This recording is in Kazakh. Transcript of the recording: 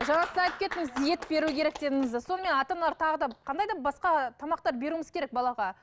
жаңа сіз айтып кеттіңіз ет беру керек дедіңіз де сонымен ата аналар тағы да қандай да басқа тамақтар беруіміз керек балаға